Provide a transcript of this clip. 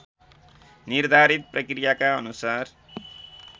निर्धारित प्रक्रियाका अनुसार